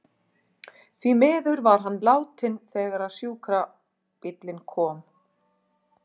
Því miður var hann látinn þegar sjúkrabíllinn kom.